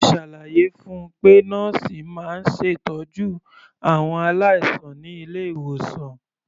Mo ṣàlàyé fun pé nọ́ọ̀sì máa ń ṣètọ́jú àwọn aláìsàn ní ilé-ìwòsàn.